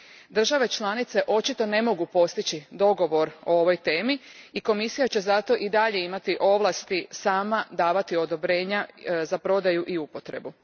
Države članice očito ne mogu postići dogovor oko ove teme i Komisija će zato i dalje imati ovlasti sama davati odobrenja za prodaju i upotrebu.